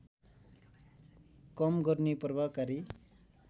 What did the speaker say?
कम गर्ने प्रभावकारी